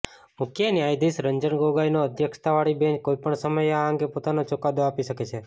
મુખ્ય ન્યાયાધીશ રંજન ગોગોઈની અધ્યક્ષતાવાળી બેંચ કોઈપણ સમયે આ અંગે પોતાનો ચુકાદો આપી શકે છે